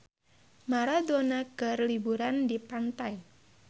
Maradona keur liburan di pantai